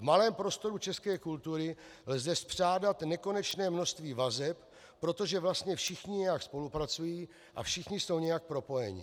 V malém prostoru české kultury lze spřádat nekonečné množství vazeb, protože vlastně všichni nějak spolupracují a všichni jsou nějak propojeni.